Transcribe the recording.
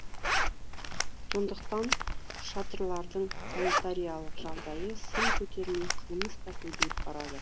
сондықтан шатырлардың санитариялық жағдайы сын көтермей қылмыс та көбейіп барады